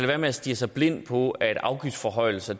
være med at stirre sig blind på at afgiftsforhøjelser